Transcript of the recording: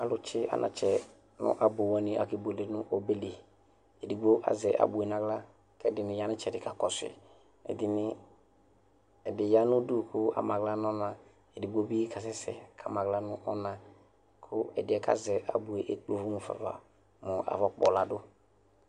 alʋtsi anakyɛ nʋ ɛpʋ wani akɛ bʋɛlɛ nʋɔbɛli, ɛdigbɔ azɛ abʋɛ nʋ ala, ɛdini yanʋitsɛdi kakɔsʋi, ɛdini ɛdi yanʋ ʋdʋ kʋ amala nʋ ɔna, ɛdigbɔ bi kasɛsɛ kʋ amala nʋ ɔna kʋɛdiɛ kazɛ abʋɛ ɛkplɛ ɛlʋ mʋƒa aɣa, aƒɔ kpɔ ladʋ